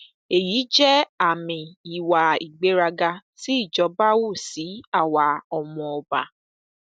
èyí jẹ àmì ìwà ìgbéraga tí ìjọba hù sí àwa ọmọọba